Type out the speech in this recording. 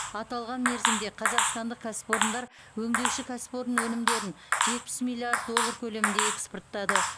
аталған мерзімде қазақстандық кәсіпорындар өңдеуші өнеркәсіп өнімдерін жетпіс миллиард доллар көлемінде экспорттады